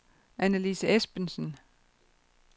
Annelise Esbensen